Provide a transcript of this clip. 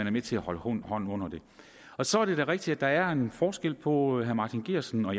er med til at holde hånden under det så er det da rigtigt at der er en forskel på herre martin geertsen og